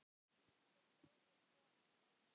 Þeir drógu konur á hárinu.